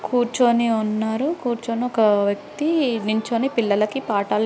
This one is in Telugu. కూర్చొని ఉన్నారు. కూర్చొని ఒక వ్యక్తి నించొని పిల్లలకి పాఠాలు--